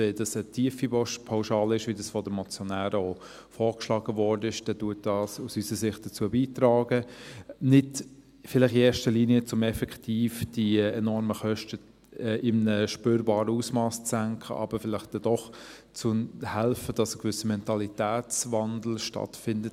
Wenn dies eine tiefe Pauschale ist, wie dies von den Motionären vorgeschlagen wurde, trägt dies aus unserer Sicht dazu bei, vielleicht nicht in erster Linie, um effektiv die enormen Kosten in einem spürbaren Ausmass zu senken, aber vielleicht hilft dies doch, dass ein gewisser Mentalitätswandel stattfindet.